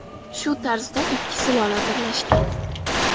Shu tarzda ikki sulola birlashgan.